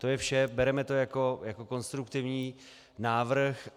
To je vše, bereme to jako konstruktivní návrh.